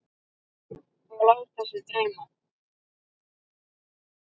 Og láta sig dreyma.